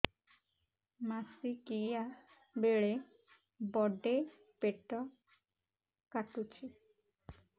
ମାସିକିଆ ବେଳେ ବଡେ ପେଟ କାଟୁଚି